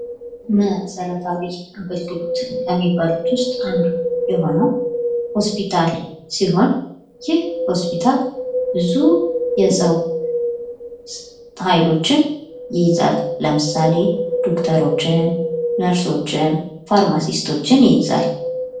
መሰረታዊ አገልግሎቶች ከሚባሉት ውስጥ አንዱ የሆነው ሆስፒታል ሲሆን ይህ ሆስፒታል ብዙ የሰው ኃይሎችን ይይዛል ለምሳሌ ዶክተሮችን ፥ነርሶች፥ ፋርማሲቶችን ይይዛል።